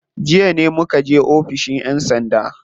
Jiya muka je oficin yan sanda.